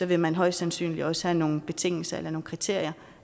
vil man højst sandsynligt også have nogle betingelser eller nogle kriterier